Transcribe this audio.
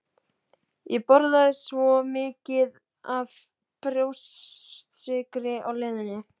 Ég borðaði svo mikið af brjóstsykri á leiðinni